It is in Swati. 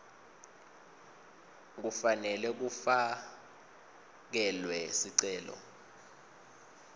kufanele kufakelwe sicelo